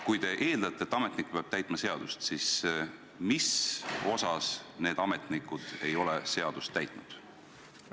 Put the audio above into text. Kui te eeldate, et ametnik peab täitma seadust, siis mis puhul need ametnikud ei ole seadust täitnud?